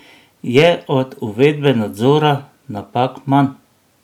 Je od uvedbe nadzora napak manj?